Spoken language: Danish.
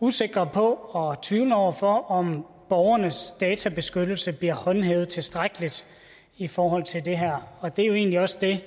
usikre på og tvivlende over for om borgernes databeskyttelse bliver håndhævet tilstrækkeligt i forhold til det her og det er jo egentlig også det